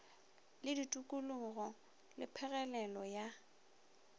le ditokologo le phegelelo ya